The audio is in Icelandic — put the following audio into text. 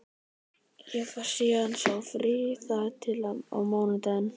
Ég fæ síðan sá frí þar til á mánudaginn.